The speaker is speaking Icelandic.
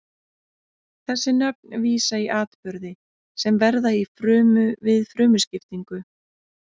þessi nöfn vísa í atburði sem verða í frumu við frumuskiptingu